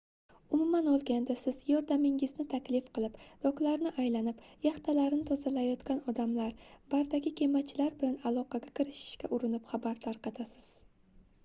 umuman olganda siz yordamingizni taklif qilib doklarni aylanib yaxtalarini tozalayotgan odamlr bardagi kemachilar bilan aloqaga kirishishga urinib xabar tarqatasiz